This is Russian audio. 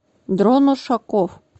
дрон ушаков